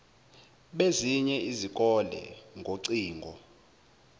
bezinye izikole ngocingo